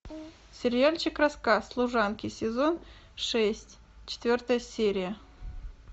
сериальчик рассказ служанки сезон шесть четвертая серия